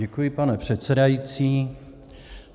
Děkuji, pane předsedající.